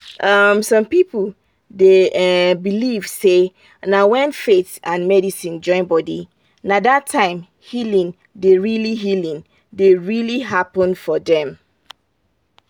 um some people dey um believe say na when faith and medicine join body na that time healing dey really healing dey really happen for dem.